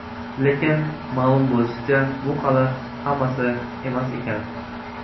Lekin ma’lum bo‘lishicha, bu hali hammasi emas ekan.